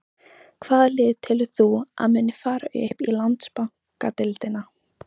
Hvaða lið telur þú að muni fara upp í Landsbankadeildina?